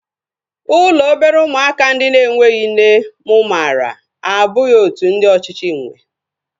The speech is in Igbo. Ụlọ obere ụmụaka ndị na-enweghị nne mụ maara abụghị otú ndị ọchịchị nwee